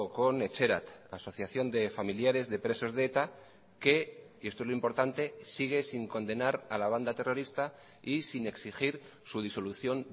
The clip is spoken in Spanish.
con etxerat asociación de familiares de presos de eta que y esto es lo importante sigue sin condenar a la banda terrorista y sin exigir su disolución